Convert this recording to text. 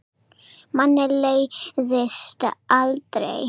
Manni leiðist aldrei.